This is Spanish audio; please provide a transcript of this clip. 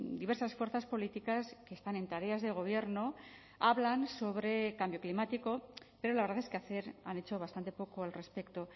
diversas fuerzas políticas que están en tareas de gobierno hablan sobre cambio climático pero la verdad es que hacer han hecho bastante poco al respecto